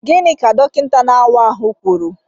Gịnị ka dọkịta na-awa ahụ kwuru?